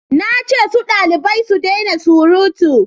na ce su dalibai su dena surutu!